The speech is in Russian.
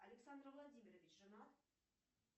александр владимирович женат